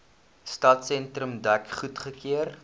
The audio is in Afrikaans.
stadsentrum dek goedgekeur